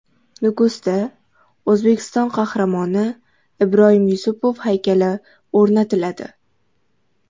Nukusda O‘zbekiston Qahramoni Ibroyim Yusupov haykali o‘rnatiladi.